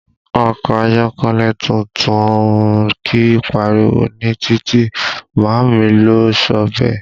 Ọkọ ayọ́kẹ́lẹ́ tuntun kìí pariwo ní títì, màámi ló sọ bẹ́ẹ̀